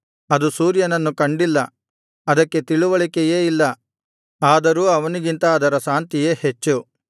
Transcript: ಅದು ಸೂರ್ಯನನ್ನು ಕಂಡಿಲ್ಲ ಅದಕ್ಕೆ ತಿಳಿವಳಿಕೆಯೇ ಇಲ್ಲ ಆದರೂ ಅವನಿಗಿಂತ ಅದರ ಶಾಂತಿಯೇ ಹೆಚ್ಚು